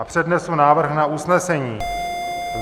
A přednesu návrh na usnesení.